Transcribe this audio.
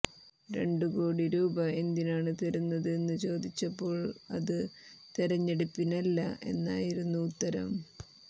രണ്ട് കോടി രൂപ എന്തിനാണ് തരുന്നത് എന്ന് ചോദിച്ചപ്പോൾ അത് തെരഞ്ഞെടുപ്പിനല്ല എന്നായിരുന്നു ഉത്തരം